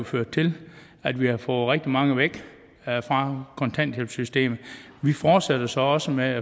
ført til at vi har fået rigtig mange væk fra kontanthjælpssystemet vi fortsætter så også med